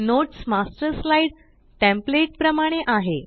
notes master slide template प्रमाणे आहे